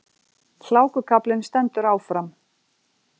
Hlákukaflinn stendur áfram